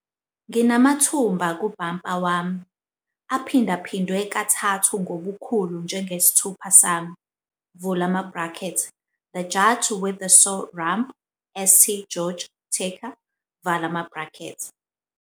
"Nginamathumba kubhampa wami, kathathu ngobukhulu njengesithupha sami", The Judge With The Sore Rump, St. George Tucker.